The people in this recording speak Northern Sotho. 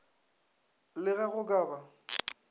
le ge go ka ba